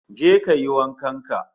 Je kayi wankan ka